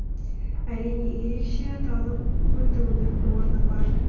әрине ерекше аталып өтуінің орны бар